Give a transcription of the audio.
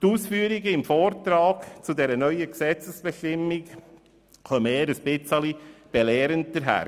Die Ausführungen im Vortrag zu dieser neuen Gesetzesbestimmung kommen eher belehrend daher;